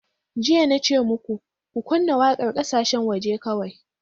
Jiya na ce muku, Ku kunna waƙar ƙasashen waje kawai!